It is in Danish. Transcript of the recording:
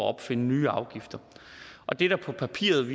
at opfinde nye afgifter og det der på papiret